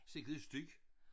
Sikke en støj